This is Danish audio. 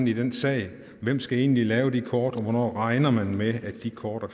i den sag hvem skal egentlig lave de kort og hvornår regner man med de kort er